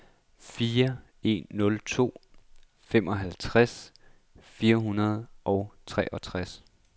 fire en nul to femoghalvtreds fire hundrede og treogtres